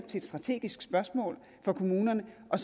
til et strategisk spørgsmål for kommunerne og